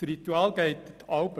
Das Ritual geht so: